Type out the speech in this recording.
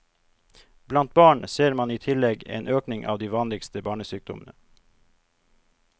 Blant barn ser man i tillegg en økning av de vanligste barnesykdommene.